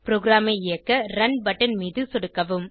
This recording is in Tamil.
ப்ரோகிராமை இயக்க ரன் பட்டன் மீது சொடுக்கவும்